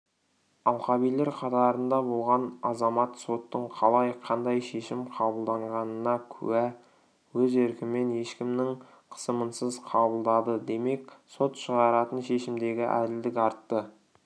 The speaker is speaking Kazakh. алқабилер қатарында болған азамат соттың қалай қандай шешім қабылдағанына куә өз еркімен ешкімнің қысымынсыз қабылдады демек сот шығаратын шешімдегі әділдік артты